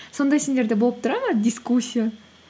сондай сендерде болып тұрады ма дискуссия